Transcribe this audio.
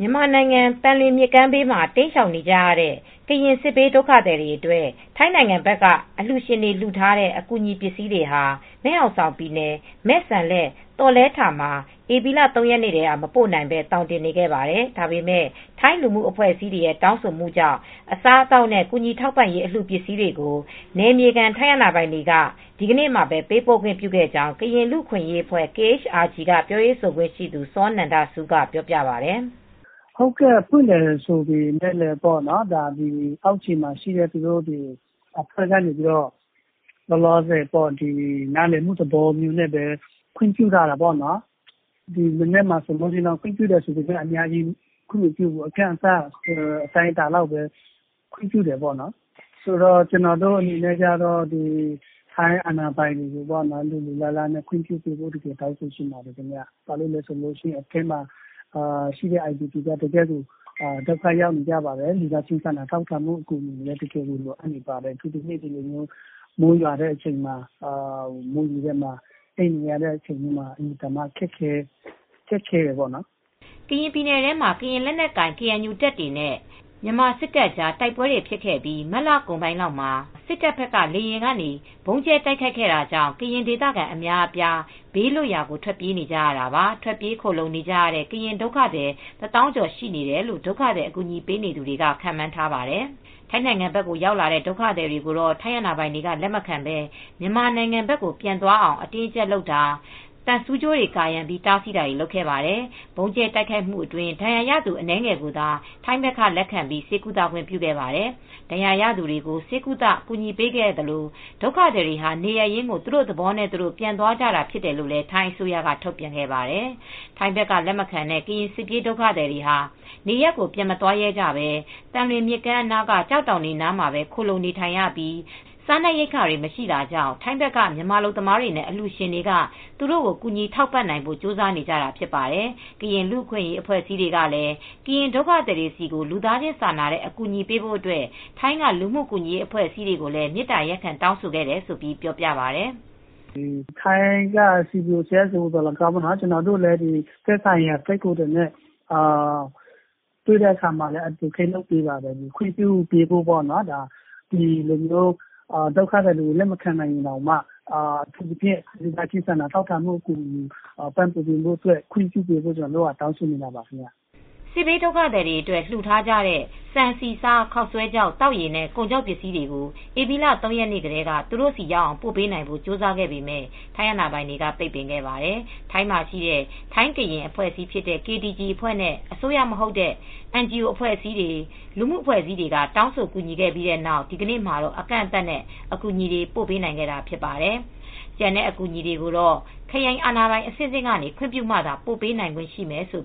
မြန်မာနိုင်ငံ သံလွင်မြစ်ကမ်းဘေးမှာ တိမ်းရှောင်နေကြတဲ့ ကရင် စစ်ဘေးဒုက္ခသည်တွေ အတွက် ထိုင်းနိုင်ငံဘက်က အလှူရှင်တွေ လှူထားတဲ့ အကူအညီပစ္စည်းတွေဟာ မယ်ဟောင်ဆောင်ပြည်နယ် မဲ့စမ်လက် (သောလယ်ထာ) မှာ ဧပြီ ၃ ရက်နေ့ထဲက မပို့နိုင်ဘဲ သောင်တင်နေခဲ့ပါတယ်။ ဒါပေမဲ့ ထိုင်းလူမှုအဖွဲ့အစည်းတွေရဲ့ တောင်းဆိုမှုကြောင့် အစားအသောက်နဲ့ ကူညီထောက်ပံ့ရေးအလှူပစ္စည်းတွေကို နယ်မြေခံ ထိုင်းအာဏာပိုင်တွေက ဒီနေ့မှာ ပေးပို့ခွင့်ပြုခဲ့ကြောင်း ကရင်လူအခွင့်ရေးအဖွဲ့(KHRG)က ပြောရေးဆိုခွင့်ရှိသူ စောနန္ဒဆူးက ပြောပြပါတယ်။ "ဖွင့်တယ်ဆိုပေမဲ့လည်း အောက်ခြေမှာရှိတဲ့ သူတို့အာဏာပိုင်တွေက နားလည်မှုနဲ့ ခွင့်ပြုခဲ့တာပေါ့နော်။ ဒီမနက်မှာလည်း အများကြီးခွင့်မပြုဘူး အတိုင်းအတာ တခုလောက်ထိပဲ ခွင့်ပြုတယ် ကျနော်တို့ အနေနဲ့ တောင်းဆိုချင်တာက ထိုင်းအာဏာပိုင်တွေက လိုလိုလားလား ခွင့်ပြုစေချင်တယ်ပေါ့နော်။ အထဲမှာ အိုင်ဒီပီပြည်တွင်း အိုးအိမ်မဲ့ဒုက္ခသည်တွကအင်မတန်မှ ဒုက္ခတွေ ရောက်နေကြပါတယ်။ လူသားချင်းစာနာတဲ့ အကူအညီတွေလည်း ပိုပြီး လိုအပ်နေပါတယ်။ အခုဆိုရင် မိုးရွာထဲမှာ အိပ်နေရတာကလည်းအတော်ခက်ခဲပါတယ်။" ကရင်ပြည်နယ်ထဲမှာ ကရင်လက်နက်ကိုင် ကေအန်ယူတပ်တွေနဲ့ မြန်မာစစ်တပ်ကြား တိုက်ပွဲတွေဖြစ်ခဲ့ပြီး မတ်လကုန်ပိုင်းမှာ စစ်တပ်ဘက်က လေကြောင်းကနေ ဗုံးကြဲတိုက်ခိုက်ခဲ့ပြီးနောက် ကရင်ဒေသခံအများအပြား ဘေးလွတ်ရာ ထွက်ပြေးနေကြတာပါ။ ထွက်ပြေးခိုလှုံနေကြရတဲ့ ကရင်ဒုက္ခသည် ၁၀,၀၀၀ ကျော်ရှိတယ်လို့ ဒုက္ခသည် အကူအညီပေးနေသူတွေက ခန့်မှန်းပါတယ်။ ထိုင်းနိုင်ငံဘက်ရောက်လာတဲ့ ဒုက္ခသည်တွေကို ထိုင်းအာဏာပိုင်တွေက လက်မခံဘဲ မြန်မာနိုင်ငံဘက်ကို ပြန်သွားအောင် အတင်းအကြပ်လုပ်တာ၊ သံဆူးကြိုးတွေ ကာရံပြီး တားဆီးတာတွေ လုပ်ခဲ့ပါတယ်။ ဗုံးကြဲတိုက်ခိုက်မှုအတွင်း ဒဏ်ရာရသူ အနည်းငယ်ကိုသာ ထိုင်းဖက်က လက်ခံပြီး ဆေးကုသခွင့်ပြုခဲ့ပါတယ်။ ဒဏ်ရာရသူတွေကို ဆေးကုသ ကူညီပေးခဲ့သလို၊ ဒုက္ခသည်တွေဟာ နေရပ်ရင်းကို သူတို့သဘောနဲ့ သူတို့ ပြန်သွားကြတာဖြစ်တယ်လို့ ထိုင်းအစိုးရက ထုတ်ပြန်ပါတယ်။ ထိုင်းဘက်က လက်မခံတဲ့ ကရင်စစ်ဘေးဒုက္ခသည်တွေဟာ နေရပ်တွေကို ပြန်မသွားရဲကြဘဲ သံလွင်မြစ်ကမ်းအနားက ကျောက်တောင်တွေ အနားမှာပဲ ခိုလှုံနေထိုင်ရပြီး စားနပ်ရိက္ခာတွေမရှိတာကြောင့် ထိုင်းဘက်က မြန်မာအလုပ်သမားတွေနဲ့အလှူရှင်တွေကသူတို့ကို ကူညီထောက်ပံ့နိုင်ဖို့ ကြိုးစားနေကြတာ ဖြစ်ပါတယ်။ ကရင်လူအခွင့်ရေးအဖွဲ့အစည်းတွေကလည်း ကရင်ဒုက္ခသည်တွေဆီကို လူသားချင်းစာနာတဲ့ အကူညီပေးဖို့အတွက်ထိုင်းက လူ့မှုကူညီရေးအဖွဲ့အစည်းတွေကိုလည်း မေတ္တာရပ်ခံ တောင်းဆိုခဲ့တယ်လို့ ပြောပြပါတယ်။ "ထိုင်းက CBO၊ CSO တွေကို ကျနော်တို့လည်း သက်ဆိုင်ရာထိုင်းကိုယ်စားလှယ်တွေနဲ့တွေ့တဲ့အခါမှာ Advocate လုပ်ပါတယ်၊ ခွင့်ပြုပေးဖို့ပေါ့နော်။ ဒီလိုမျိုး ဒုက္ခသည်တွေကို လက်မခံနိုင်ရင်တောင်မှ ဒုက္ခသည်တွေအတွက် စားနပ်ရိက္ခာတွေကို လူသားချင်းစာနာမှုတွေနဲ့ ခွင့်ပြုပေးဖို့ တောင်းဆိုနေတာပါ။" စစ်ဘေးဒုက္ခသည်တွေအတွက် လှူထားကြတဲ့ ဆန်ဆီ၊ ဆား၊ ခေါက်ဆွဲခြောက် သောက်ရေနဲ့ ကုန်ခြောက်ပစ္စည်းတွေကို ဧပြီလ ၃ ရက်နေ့ထဲက သူတို့ဆီရောက်အောင် ပို့ပေးနိုင်ဖို့ ကြိုးစားခဲ့ပေမဲ့ ထိုင်းအာဏာပိုင်တွေက ပိတ်ပင်ခဲ့ပါတယ်။ ထိုင်းမှာ ရှိတဲ့ ထိုင်းကရင် (KTG) အဖွဲ့နဲ့ အစိုးရမဟုတ်တဲ့ NGO အဖွဲ့အစည်းတွေ လူမှုအဖွဲ့အစည်းတွေက တောင်းဆို ကူညီခဲ့ပြီးနောက် ဒီနေ့မှာတော့ အကန့်အသတ်နဲ့ အကူအညီတွေ ပို့ပေးနိုင်ခဲ့တာဖြစ်ပါတယ်။ ကျန်တဲ့အကူအညီတွေကိုတော့ ခရိုင်အာဏာပိုင်အဆင့်ဆင့်ကနေ ခွင့်ပြုမှာသာပို့ပေးနိုင်ခွင့်ရမယ်လို့